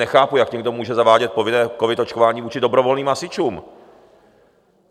Nechápu, jak někdo může zavádět povinné covid očkování vůči dobrovolným hasičům?